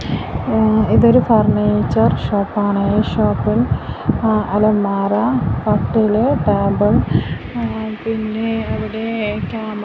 ഏ ഇതൊരു ഫർണിചർ ഷോപ്പാണ് ഈ ഷോപ്പിൽ അലമാര കട്ടിൽ ടേബിൾ ങ് പിന്നെ അവിടെ കമ--